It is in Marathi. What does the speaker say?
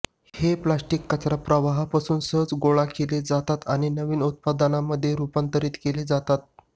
हे प्लास्टिक कचरा प्रवाहापासून सहज गोळा केले जातात आणि नवीन उत्पादांमध्ये रुपांतरीत केले जातात